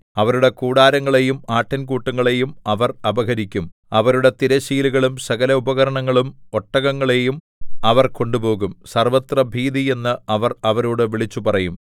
അവരുടെ കൂടാരങ്ങളെയും ആട്ടിൻകൂട്ടങ്ങളെയും അവർ അപഹരിക്കും അവരുടെ തിരശ്ശീലകളും സകല ഉപകരണങ്ങളും ഒട്ടകങ്ങളെയും അവർ കൊണ്ടുപോകും സർവ്വത്രഭീതി എന്ന് അവർ അവരോട് വിളിച്ചുപറയും